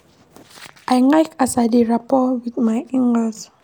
I like as I dey rapport wey wit my in-laws.